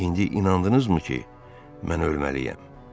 İndi inandınızmı ki, mən ölməliyəm?